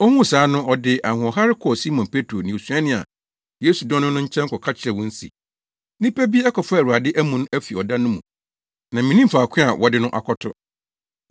Ohuu saa no ɔde ahoɔhare kɔɔ Simon Petro ne osuani a Yesu dɔ no no nkyɛn kɔka kyerɛɛ wɔn se, “Nnipa bi akɔfa Awurade amu no afi ɔda no mu na minnim faako a wɔde no akɔto!”